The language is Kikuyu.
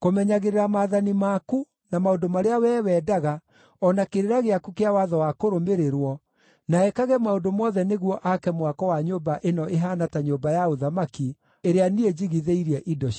kũmenyagĩrĩra maathani maku, na maũndũ marĩa wee wendaga o na kĩrĩra gĩaku kĩa watho wa kũrũmĩrĩrwo, na ekage maũndũ mothe nĩguo aake mwako wa nyũmba ĩno ĩhaana ta nyũmba ya ũthamaki, ĩrĩa niĩ njigithĩirie indo ciayo.”